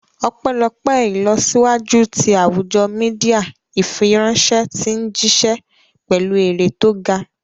Ọpẹ́lọpẹ́ ìlọsíwájú ti àwùjọ Mídíà, ìfiránṣẹ́ ti ń jíṣẹ́ pẹ̀lú eré tó ga